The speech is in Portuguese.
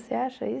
Você acha